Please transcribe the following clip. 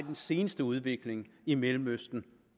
den seneste udvikling i mellemøsten